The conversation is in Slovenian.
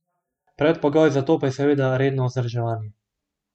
Predpogoj za to pa je seveda redno vzdrževanje.